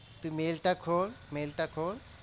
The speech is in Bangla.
তুই mail টা খোল mail টা খোল